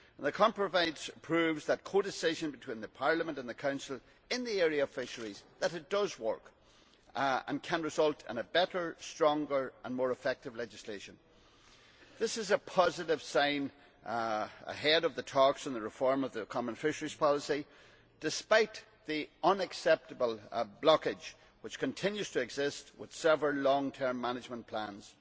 The compromise proves that codecision between Parliament and the Council in the area of fisheries does work and can result in a better, stronger and more effective legislation. This is a positive sign ahead of the talks on the reform of the Common Fisheries Policy, despite the unacceptable blockage that continues to exist with several long term management plans.